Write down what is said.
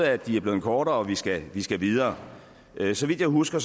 at de er blevet kortere og at vi skal skal videre så vidt jeg husker